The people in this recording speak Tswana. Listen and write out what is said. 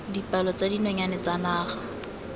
dipalo tsa dinonyane tsa naga